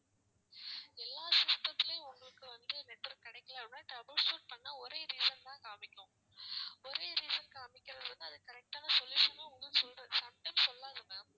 எல்லாம் system த்துலேயும் உங்களுக்கு வந்து network கிடைக்கலன்னா trouble shoot பண்ணா ஒரே reason தான் காமிக்கும் ஒரே reason காமிக்குதுன்னா அது correct ஆன solution உம் உங்களுக்கு சொல்ற` sometimes சொல்லாது ma'am